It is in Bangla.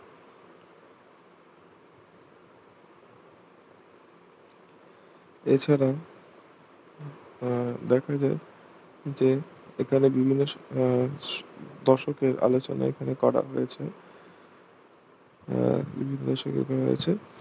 এছাড়া আহ দেখা যায় যে এখানে বিভিন্ন আহ দশকের আলোচনা এখানে করা হয়েছে আহ বিভিন্ন সুবিধায় আছে